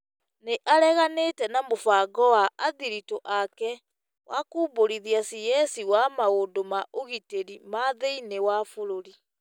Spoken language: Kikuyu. nĩ areganire na mũbango wa athiritũ ake wa kũmbũrithia cs wa maũndũ ma ũgitĩri ma thĩinĩ wa bũrũri,